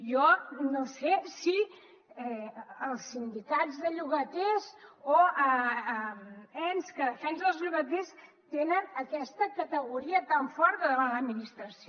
jo no sé si els sindicats de llogaters o ens que defensen els llogaters tenen aquesta categoria tan forta davant l’administració